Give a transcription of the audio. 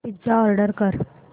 pizza order कर